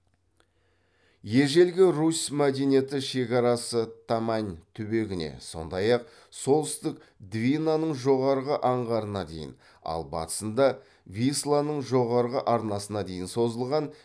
ежелгі русь мәдениеті шекарасы тамань түбегіне сондай ақ солтүстік двинаның жоғарғы аңғарына дейін ал батысында висланның жоғарғы арнасына дейін созылған